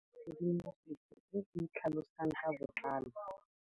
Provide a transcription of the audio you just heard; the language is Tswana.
Tlhalefô o batla tshedimosetsô e e tlhalosang ka botlalô.